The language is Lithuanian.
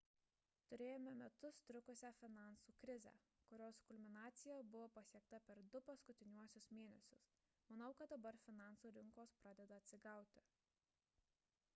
turėjome metus trukusią finansų krizę kurios kulminacija buvo pasiekta per du paskutiniuosius mėnesius manau kad dabar finansų rinkos pradeda atsigauti